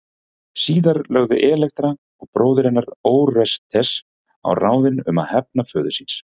Síðar lögðu Elektra og bróðir hennar Órestes á ráðin um að hefna föður síns.